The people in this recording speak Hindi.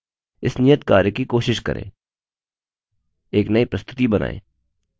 इस नियत कार्य की कोशिश करें एक नई प्रस्तुति बनाएँ